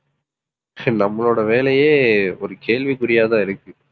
நம்மளோட வேலையே ஒரு கேள்விக்குறியாதான் இருக்கு